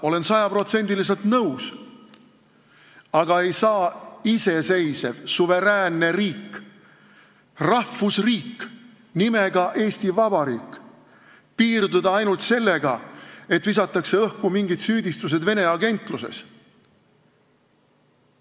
Olen sada protsenti nõus, et iseseisev, suveräänne riik, rahvusriik nimega Eesti Vabariik ei saa piirduda ainult sellega, et visatakse õhku mingid süüdistused Vene agentluses.